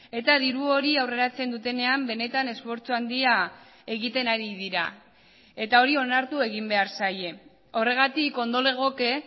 eta diru hori aurreratzen dutenean benetan esfortzu handia egiten ari dira eta hori onartu egin behar zaie horregatik ondo legoke